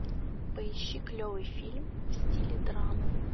поищи клевый фильм в стиле драмы